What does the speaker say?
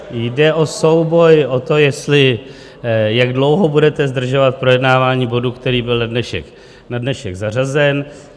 Jde o souboj o to, jak dlouho budete zdržovat projednávání bodu, který byl na dnešek zařazen.